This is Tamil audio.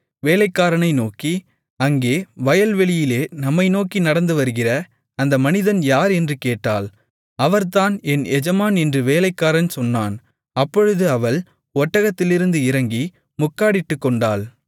வேலைக்காரனை நோக்கி அங்கே வயல்வெளியிலே நம்மைநோக்கி நடந்துவருகிற அந்த மனிதன் யார் என்று கேட்டாள் அவர்தான் என் எஜமான் என்று வேலைக்காரன் சொன்னான் அப்பொழுது அவள் ஒட்டகத்திலிருந்து இறங்கி முக்காடிட்டுக்கொண்டாள்